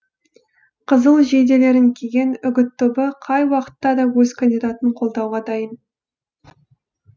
қызыл жейделерін киген үгіт тобы қай уақытта да өз кандидатын қолдауға дайын